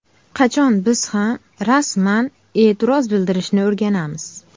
Qachon biz ham rasman e’tiroz bildirishni o‘rganamiz?